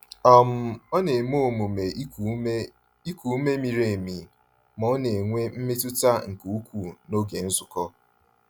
um Ọ na-eme omume iku ume iku ume miri emi ma ọ n'enwe mmetụta nke ukwuu n'oge nzukọ.